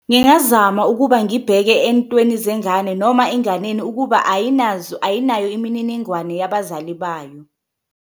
Ngingazama ukuba ngibheke entweni zengane noma enganeni ukuba ayinazo, ayinayo imininingwane yabazali bayo.